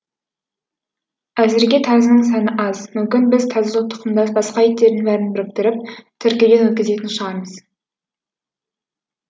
әзірге тазының саны аз мүмкін біз тазы тұқымдас басқа иттердің бәрін біріктіріп тіркеуден өткізетін шығармыз